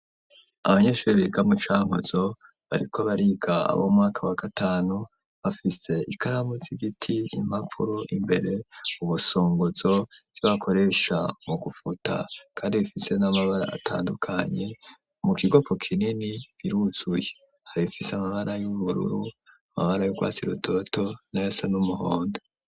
Abanyeshuri biga mu Cankuzo bariko bariga abo mu mwaka wa gatanu bafise ikaramu z'igiti impapuro imbere ubusongozo ivyo bakoresha mu gufuta kandi bifise n'amabara atandukanye mu kigopo kinini biruzuye haribifise amabara y'ubururu amabara yubwatsi rutoto nayasa n'umuhondo